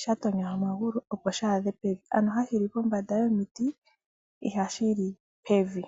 shatonya omagulu opo shi adhe pevi ano hashi li pombanda yomiti ihashi li pevi.